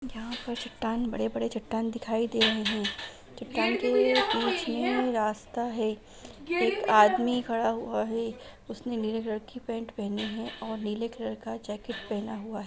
यहां पर चट्टान बड़े-बड़े चट्टान दिखाई दे रहे हैं| चट्टान के बीच में एक रास्ता है एक आदमी खड़ा हुआ है उसने नीले कलर की पैंट पहनी है और नीले कलर का जैकेट पहना हुआ है ।